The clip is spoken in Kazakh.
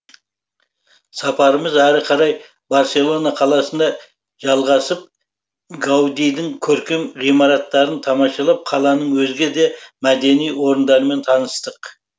сапарымыз әрі қарай барселона қаласында жалғасып гаудидің көркем ғимараттарын тамашалап қаланың өзге де мәдени орындарымен таныстық